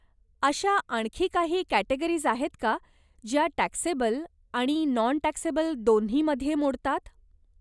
अशा आणखी काही कॅटेगरीज आहेत का ज्या टॅक्सेबल आणि नॉन टॅक्सेबल दोन्हीमध्ये मोडतात.